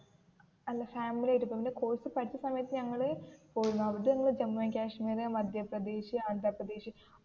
അല്ല ഫാമിലി ആയിട്ട് പോയതാ കോഴ്സ് പഠിച്ച സമയത്തു ഞങ്ങൾ പോയിരുന്നു അവിടുന്നു ജമ്മു ആൻറ് കാശ്മീര, മദ്യ പ്രദേശ്, ആന്ധ്രാ പ്രദേശ്